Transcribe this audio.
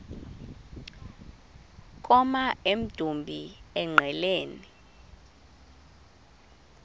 koma emdumbi engqeleni